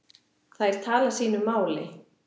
Þær tala sínu máli.